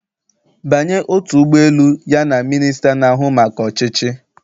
Banye otu ụgbọ elu ya na minista na-ahụ maka ọchịchị